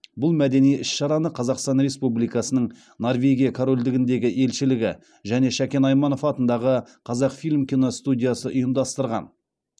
бұл мәдени іс шараны қазақстан республикасының норвегия корольдігіндегі елшілігі және шәкен айманов атындағы қазақфильм киностудиясы ұйымдастырған